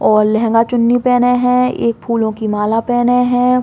और लेहगा चुन्नी पेहने है। एक फूलो की माला पेहने है।